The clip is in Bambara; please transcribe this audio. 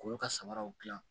K'olu ka samaraw dilan